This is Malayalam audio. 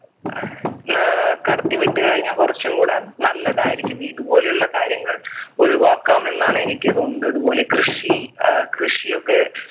ഏർ കടത്തി വിട്ടുകഴിഞ്ഞാ കുറച്ചുംകൂടെ നല്ലതായിരിക്കും ഇതുപോലെയുള്ള കാര്യങ്ങൾ ഒഴിവാക്കാം എന്നാണ് എനിക്ക് തോന്നുന്നത് അത്പോലെ കൃഷി ഏർ കൃഷിയൊക്കെ